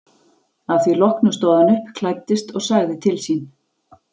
Að því loknu stóð hann upp, klæddist og sagði til sín.